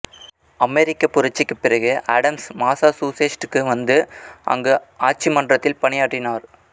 அமெரிக்கப் புரட்சிக்குப் பிறகு ஆடம்ஸ் மாசாசூசெட்ஸ் க்கு வந்து அங்கு ஆட்சிமன்றத்தில் பணியாற்றினார்